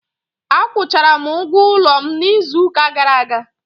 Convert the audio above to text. Akwụchara m ụgwọ ụlọ m n'izu ụka gara aga.